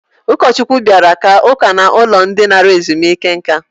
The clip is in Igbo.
Ụkọchukwu bịara kaa ụka n'ụlọ ndị nara ezumike nka.